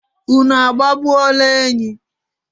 unu agbagbuola enyi?